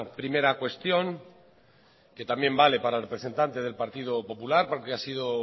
primera cuestión que también vale para el representante del partido popular porque ha sido